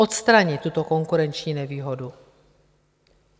Odstranit tuto konkurenční nevýhodu.